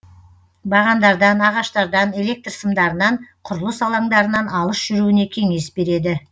бағандардан ағаштардан электр сымдарынан құрылыс алаңдарынан алыс жүруіне кеңес береді